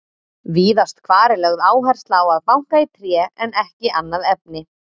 Víðast hvar er lögð áhersla á að banka í tré en ekki annað efni.